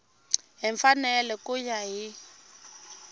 hi mfanelo ku ya hi